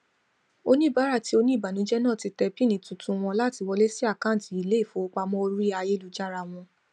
oníbàárà tí ó ní ìbànújẹ náà ti tẹ pin tuntun wọn láti wọlé sí àkàǹtì iléifowopamọ orí ayélujára wọn